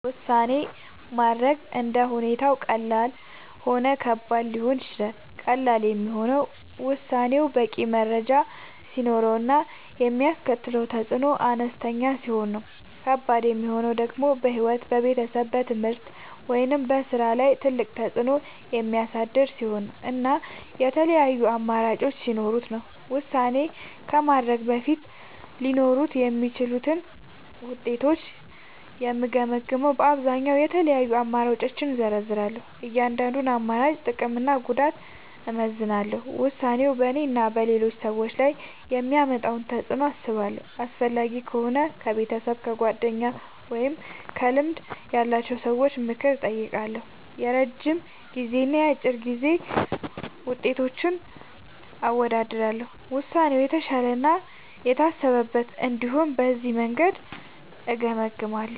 ውሳኔ ማድረግ እንደ ሁኔታው ቀላልም ሆነ ከባድም ሊሆን ይችላል። ቀላል የሚሆነው ውሳኔው በቂ መረጃ ሲኖረው እና የሚያስከትለው ተፅዕኖ አነስተኛ ሲሆን ነው። ከባድ የሚሆነው ደግሞ በሕይወት፣ በቤተሰብ፣ በትምህርት ወይም በሥራ ላይ ትልቅ ተፅዕኖ የሚያሳድር ሲሆን እና የተለያዩ አማራጮች ሲኖሩት ነው። ውሳኔ ከማድረግ በፊት ሊኖሩ የሚችሉትን ውጤቶች የምገመግመዉ በአብዛኛዉ፦ የተለያዩ አማራጮችን እዘረዝራለሁ። የእያንዳንዱን አማራጭ ጥቅምና ጉዳት አመዛዝናለሁ። ውሳኔው በእኔና በሌሎች ሰዎች ላይ የሚያመጣውን ተፅዕኖ አስባለሁ። አስፈላጊ ከሆነ ከቤተሰብ፣ ከጓደኞች ወይም ከልምድ ያላቸው ሰዎች ምክር እጠይቃለሁ። የረጅም ጊዜና የአጭር ጊዜ ውጤቶችን አወዳድራለሁ። ውሳኔው የተሻለ እና የታሰበበት እንዲሆን በዚህ መንገድ እገመግማለሁ።